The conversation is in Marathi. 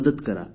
मदत करा